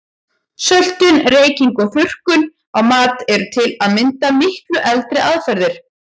Söltun, reyking og þurrkun á mat eru til að mynda miklu eldri aðferðir.